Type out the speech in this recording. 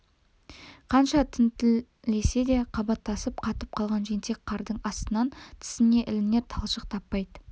қанша тінткілесе де қабаттасып қатып қалған жентек қардың астынан тісіне ілінер талшық таппайды